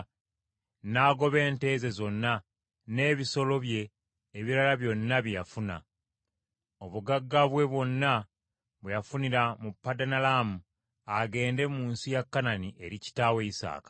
n’agoba ente ze zonna, n’ebisolo bye ebirala byonna bye yafuna: obugagga bwe bwonna bwe yafunira mu Padanalaamu, agende mu nsi ya Kanani eri kitaawe Isaaka.